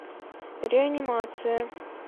реанимация